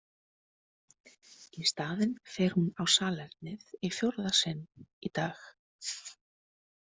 Í staðinn fer hún á salernið í fjórða sinn í dag.